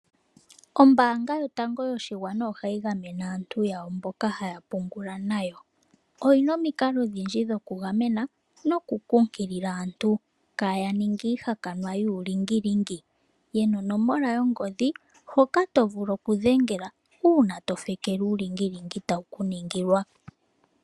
Ombaanga yotango yoshigwana ohayi gamene aantu yawo mboka haya pungula nayo. Oyina omikalo odhindji dhoku gamena noku kunkilila aantu kaya ninge iihakanwa yuulingilingi. Yena onomola yongodhi hoka to vulu oku dhengela uuna to fekelwa uulingilingi tawu ku ningilwa.